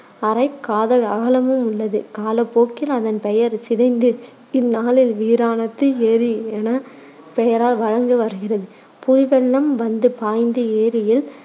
அரைக் காத அகலமும் உள்ளது. காலப்போக்கில் அதன் பெயர் சிதைந்து இந்நாளில் வீராணத்து ஏரி என பெயரால் வழங்கி வருகிறது. புது வெள்ளம் வந்து பாய்ந்து ஏரியில்